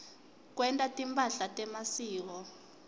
kwenta timphahla temasiko